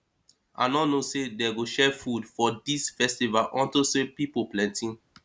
i no know say dey go share food for dis festival unto say people plenty